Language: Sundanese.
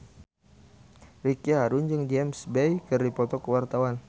Ricky Harun jeung James Bay keur dipoto ku wartawan